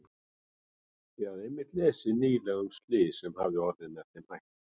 Ég hafði einmitt lesið nýlega um slys sem hafði orðið með þeim hætti.